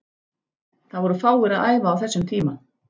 Það voru fáir að æfa á þessum tíma.